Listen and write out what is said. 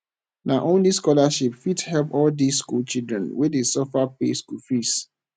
na only scholarship fit help all dis skool children wey dey suffer pay school fees